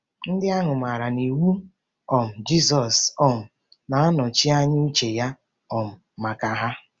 Ndị ahụ maara na iwu um Jizọs um na-anọchi anya uche ya um maka ha.